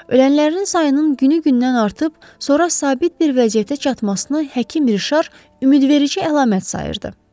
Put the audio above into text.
Ölənlərin sayının günü-gündən artıb sonra sabit bir vəziyyətə çatmasını həkim Rişar ümidverici əlamət sayırdı.